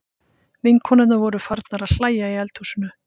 Vinkonurnar voru farnar að hlæja í eldhúsinu.